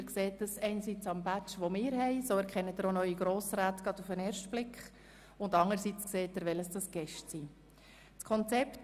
Dies sehen Sie einerseits an unserem Badge, an dem Sie übrigens auch neue Grossrätinnen und Grossräte gleich auf den ersten Blick erkennen, und anderseits sehen Sie, welches unsere Gäste sind.